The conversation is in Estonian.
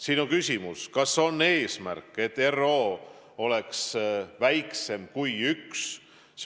Siin oli küsimus, kas on eesmärk, et R0 oleks väiksem kui 1.